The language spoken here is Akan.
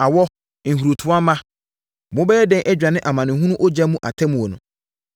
“Awɔ! Nhurutoa mma! Mobɛyɛ dɛn adwane amanehunu ogya mu atemmuo no?